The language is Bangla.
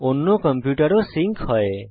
অন্য কম্পিউটার ও সিঙ্ক হয়